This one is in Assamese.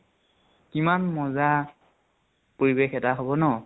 কিমান মজা পৰিৱেশ এটা হʼব ন?